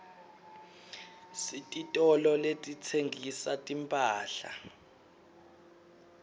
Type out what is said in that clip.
sititolo letitsengisa timphahla